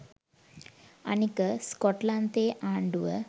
අනික ස්කොට්ලන්තයේ ආණ්ඩුව